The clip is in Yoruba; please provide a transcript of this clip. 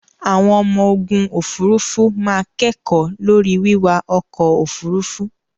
Àwọn ọmọ ogun òfurufú máa kẹ́kọ̀ọ́ lórí wíwa ọkọ̀ òfurufú.